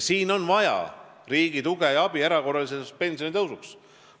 Siin on vaja riigi tuge ja abi erakorraliseks pensionitõusuks.